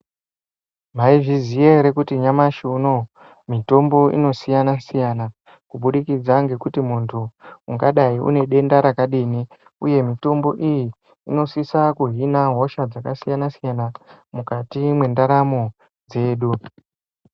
Mwaizviziva hre kuti nyamhashi unowo mitombo inosiyana siyana kubudikidza nekuti muntu ungadai unedenda rakadii, uye mitombo iyi inosisa kuhila hosha dzakasiyana siyana mukati mendaramo dzedu .